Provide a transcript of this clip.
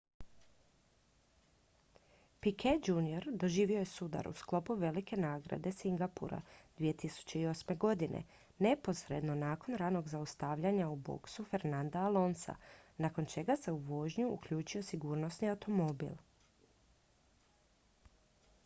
piquet jr doživio je sudar u sklopu velike nagrade singapura 2008. godine neposredno nakon ranog zaustavljanja u boksu fernanda alonsa nakon čega se u vožnju uključio sigurnosni automobil